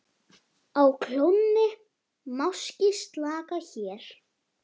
Á klónni máski slaka hér.